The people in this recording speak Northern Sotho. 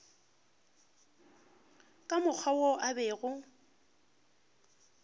ka mokgwa wo a bego